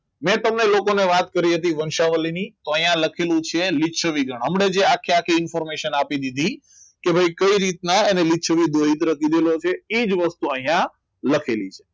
મેં તમને લોકોને વાત કરી હતી તો અહીંયા લખેલું છે લીછવી ગણ આખે આખી જિંદગી પરમિશન આપી દીધી કે કઈ રીતના એને એ જ વસ્તુ અહીંયા લખેલી છે